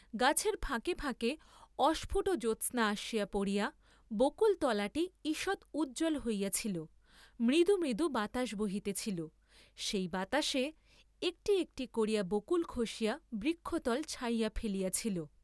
গাছের ফাঁকে ফাঁকে অস্ফুট জ্যোৎস্না আসিয়া পড়িয়া বকুল, তলাটি ঈষৎ উজ্জ্বল হইয়াছিল, মৃদু মৃদু বাতাস বহিতেছিল, সেই বাতাসে একটি একটি করিয়া বকুল খসিয়া বৃক্ষতল ছাইয়া ফেলিয়াছিল।